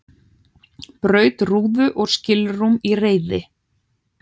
Braut rúðu og skilrúm í reiði